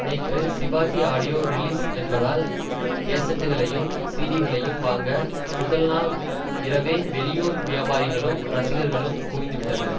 நேற்று Sivaji audio release என்பதால் கேசட்டுகளையும் சீடிக்களையும் வாங்க முதல் நாள் இரவே வெளியூர் வியாபாரிகளும் ரசிகர்களும் குவிந்து விட்டனர்